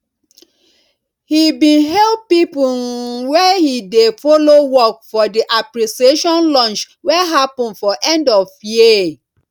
he bin hail people um wey he dey follow work for the appreciationlunch wey happen for end of year